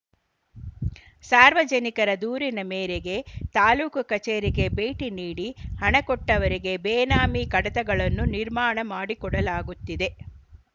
ಸಾರ್ವಜನಿಕರ ದೂರಿನ ಮೇರೆಗೆ ತಾಲೂಕು ಕಚೇರಿಗೆ ಭೇಟಿ ನೀಡಿ ಹಣ ಕೊಟ್ಟವರಿಗೆ ಬೇನಾಮಿ ಕಡತಗಳನ್ನು ನಿರ್ಮಾಣ ಮಾಡಿಕೊಡಲಾಗುತ್ತಿದೆ